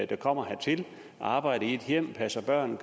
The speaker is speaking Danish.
der kommer hertil og arbejder i et hjem passer børn